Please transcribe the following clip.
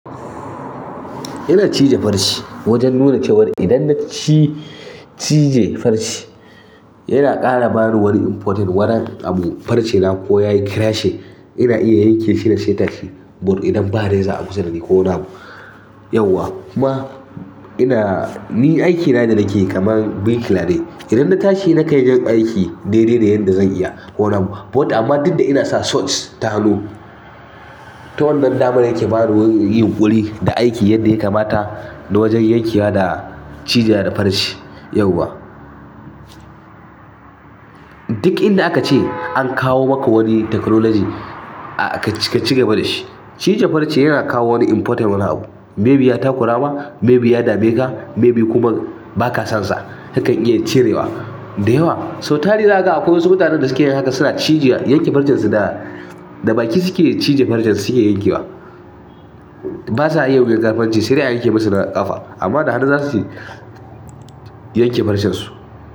Ina cije farce wajen nuna cewar idan na cije farce yana ƙara bani wani important wani abu. Farce na ko ya yi crashing ina iya yanke shi da sai tashi. But idan ba dai reza a kusa dani ko wani abu yauwa. Kuma ina-- ni aikina yadda nakeyi kamar birkila ne idan na tashi nakan iya yin aiki daidai da yadda zan iya ko wani abu but amma dukda ina sa socks, ta hannu, to wannan damar yake bani wani yinƙuri da aiki yadda ya kamata na wajen yankewa da cijewa da farce yauwa. Duk inda aka ce an kawo maka wani technology ka cigaba da shi. Cije farce yana kawo wani important wani abu. Maybe ya takura ma, maybe ya dame ka, maybe kuma ba ka sonsa. Kakan iya cirewa da yawa. So tari zakaga akwai wasu mutanen da suke yin haka suna cije yanke farcen su da baki suke cije farcen su suke yankewa. Ba sa iya yankan farce sai dai a yanke musu na ƙafa amma da hannu za su yanke farcen su.